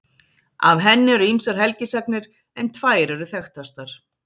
Af henni eru ýmsar helgisagnir en tvær eru þekktastar.